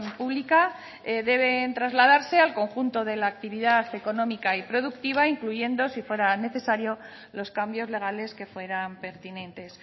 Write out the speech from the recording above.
pública deben trasladarse al conjunto de la actividad económica y productiva incluyendo si fuera necesario los cambios legales que fueran pertinentes